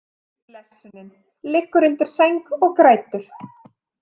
Blessunin liggur undir sæng og grætur.